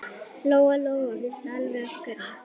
Lóa-Lóa vissi alveg af hverju.